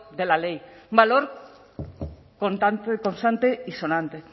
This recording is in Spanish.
de la ley un valor contante constante y sonante